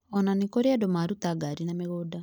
ona nĩ kũrĩ andũ maruta ngari na mĩgũnda